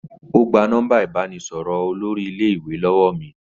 Ó gba nọ́mbà ìbánisọ̀rọ̀ olórí iléèwé lọ́wọ́ mi